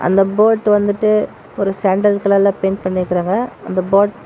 இந்த போட் வந்துட்டு ஒரு சாண்டல் கலர்ல பெயிண்ட் பண்ணிருக்கறாங்க அந்த போட் ல்--